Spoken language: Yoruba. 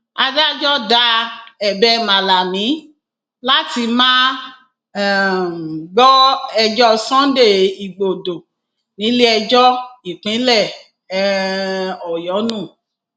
adájọ da ẹbẹ malami láti má um gbọ ẹjọ sunday igbodò níléẹjọ ìpínlẹ um ọyọ nù